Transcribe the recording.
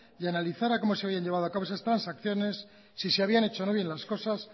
y analizara cómo se habían llevado a cabo esas transacciones si se habían hecho o no bien las cosas